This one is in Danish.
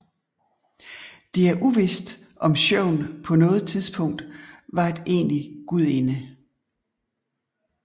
Det er uvidst om Sjøvn på noget tidspunkt vat en egentlig gudinde